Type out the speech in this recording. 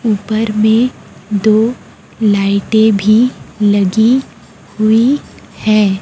ऊपर में दो लाइटें भी लगी हुई है।